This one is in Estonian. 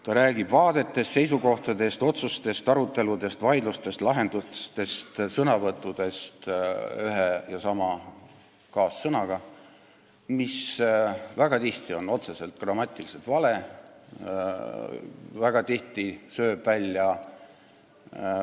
Ta räägib vaadetest, seisukohtadest, otsustest, aruteludest, vaidlustest, lahendustest, sõnavõttudest, kasutades üht ja sama kaassõna, mis väga tihti on grammatiliselt täiesti vale.